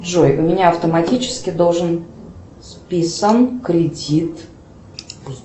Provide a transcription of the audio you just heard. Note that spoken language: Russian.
джой у меня автоматически должен списан кредит